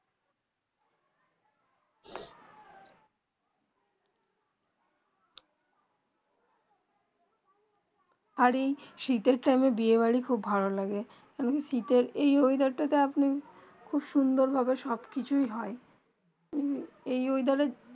আর যে শীতে টাইম বিয়ে বাড়ি খুব ভালো লাগে শীতে এই মেয়াদের তা আপনি সুন্দর ভাবে সব কিছু হয়ে এই মেয়াদের